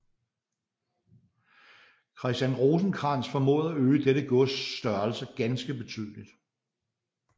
Christian Rosenkrantz formåede at øge dette gods størrelse ganske betydeligt